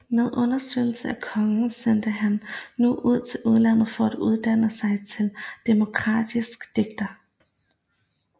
Med understøttelse af kongen sendtes han nu til udlandet for at uddanne sig til dramatisk digter